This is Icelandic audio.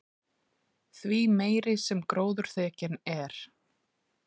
því meiri sem gróðurþekjan er